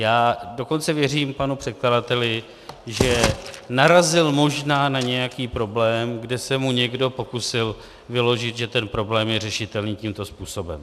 Já dokonce věřím panu předkladateli, že narazil možná na nějaký problém, kde se mu někdo pokusil vyložit, že ten problém je řešitelný tímto způsobem.